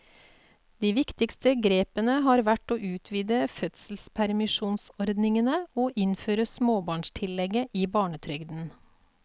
De viktigste grepene har vært å utvide fødselspermisjonsordningene og innføre småbarnstillegget i barnetrygden.